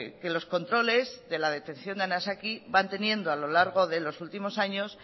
que los controles de la detección de anisakis van teniendo a lo largo de los últimos años